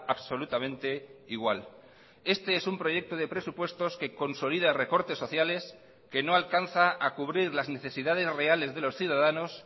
absolutamente igual este es un proyecto de presupuestos que consolida recortes sociales que no alcanza a cubrir las necesidades reales de los ciudadanos